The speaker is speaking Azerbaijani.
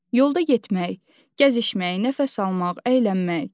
Yolda getmək, gəzişmək, nəfəs almaq, əylənmək.